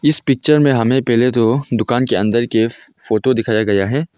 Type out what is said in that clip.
इस पिक्चर में हमे पहले तो दुकान के अंदर के फोटो दिखाया गया है।